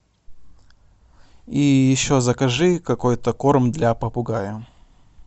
и еще закажи какой то корм для попугая